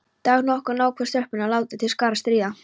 Dag nokkurn ákváðu stelpurnar að láta til skarar skríða.